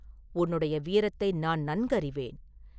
உன்னுடைய வீரத்தை நான் நன்கறிவேன்.